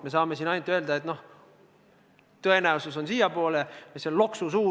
Me saame siin ainult öelda, et tõenäosus on umbes selline.